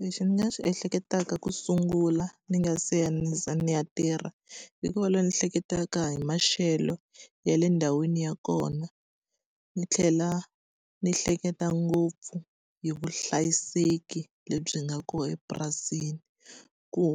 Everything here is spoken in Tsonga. Lexi ni nga swi ehleketaka ku sungula ni nga se ya ni ze ni ya tirha, i ku va loyi ni hleketaka hi maxelo ya le ndhawini ya kona, ni tlhela ni hleketa ngopfu hi vuhlayiseki lebyi nga kona epurasini. Ku